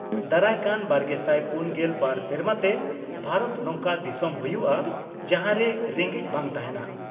ᱫᱟᱨᱟᱭ ᱠᱟᱱ ᱵᱟᱨᱜᱮᱥᱟᱭ ᱯᱩᱱᱜᱮᱞ ᱵᱟᱨ ᱥᱮᱨᱢᱟ ᱛᱮ ᱵᱷᱟᱨᱚᱛ ᱱᱚᱝᱠᱟ ᱫᱤᱥᱚᱢ ᱦᱩᱭᱩᱜᱼᱟ ᱡᱟᱦᱟᱸᱨᱮ ᱨᱮᱸᱜᱮᱡ ᱵᱟᱝ ᱛᱟᱦᱮᱸᱱᱟ ᱾